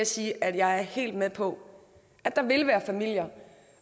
sige at jeg er helt med på at der vil være familier